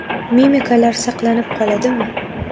Mimikalar saqlanib qoladimi?